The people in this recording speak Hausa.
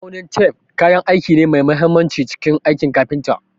Ma'aunin tef kayan aiki ne mai mahimmanci a cikin aikin kafinta.